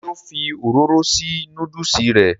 ṣé ó fi òróró sí núdùsì rẹ̀?